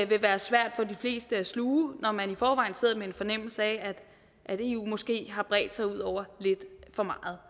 vil være svært for de fleste at sluge når man i forvejen sidder med en fornemmelse af at eu måske har bredt sig ud over lidt for meget